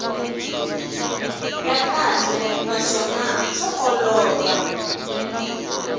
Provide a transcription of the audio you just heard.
ya kahle naswona swa olova